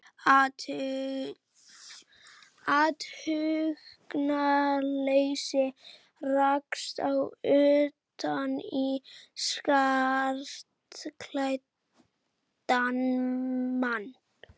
athugunarleysi rakst ég utan í skartklæddan mann.